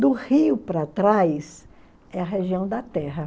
Do rio para trás é a região da terra.